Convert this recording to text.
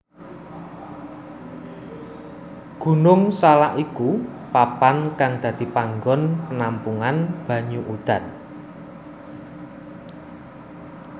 Gunung Salak iku papan kang dadi panggon penampungan banyu udan